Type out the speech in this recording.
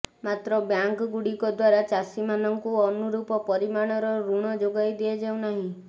ମାତ୍ର ବ୍ୟାଙ୍କଗୁଡିକ ଦ୍ୱାରା ଚାଷୀମାନଙ୍କୁ ଅନୁରୂପ ପରିମାଣର ଋଣ ଯୋଗାଇ ଦିଆଯାଉନାହିଁ